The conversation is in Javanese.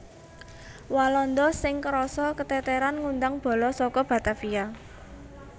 Walanda sing krasa keteteran ngundang bala saka Batavia